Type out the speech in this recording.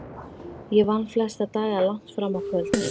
Ég vann flesta daga langt fram á kvöld.